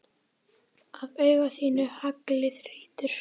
Af auga þínu haglið hrýtur.